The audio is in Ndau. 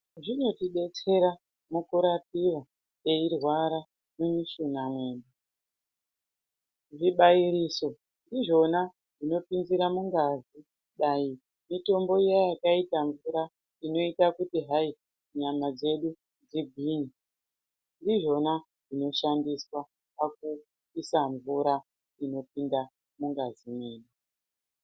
Zvinotidetsera mukurapiwa kana teirwara nemichina yedu. Zvibairiso ndizvona zvinopinzira mungazi wemutombo iya yakaita mvura inoita kuti hayi nyama dzedu dzigwinye. Ndidzona dzinoshandiswa pakuisa mvura inopinda mungazi medu.